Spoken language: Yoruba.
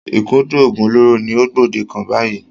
Ìkúndù oògùn olóró ni ó gbòde kàn báyìí.